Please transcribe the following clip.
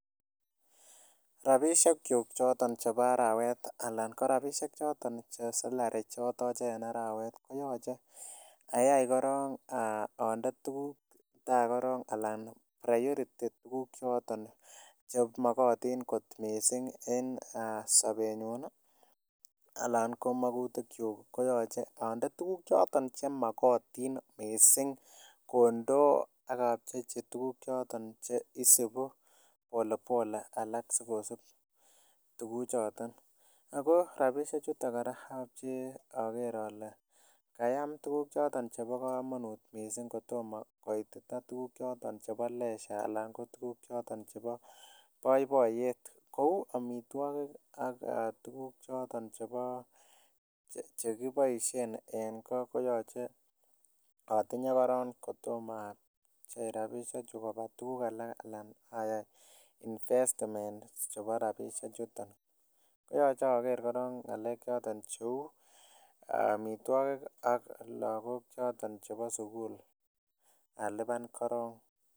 Rabishek chuk choton chebo arawet anan ko rabishek choton chesapary chatache en arawet koyache ayai koron ande tuguk ta anan priority tuguk choton chemakatin kot mising en sabenyun anan ko makutik chuk akoyache ande tuguk chemakatin mising kondoo akapchechi tuguk choton Che isibu polepole alak sikosub tuguk choton ako rabishek chuton koraa agere Kole kayam tuguk choton chebo kamanut mising kotomo koiyita tuguk choton chebo let anan ko tuguk choton chebo baibaiyet Kou amitwagik anan ko tuguk chekibaishen en go koyache atinye koron kotomo asich rabishak chukabo tuguk anan ayai investment chebo rabinik chuton koyache Ager koron ngalek Chito cheu amitwagik ak lagok choton chebo sukul aluban korong